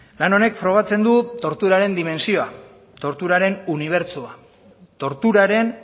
lan honek frogatzen du torturaren dimentsioa torturaren unibertsoa torturaren